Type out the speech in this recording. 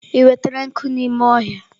Ị nwetara nkụ n'ime ọhịa?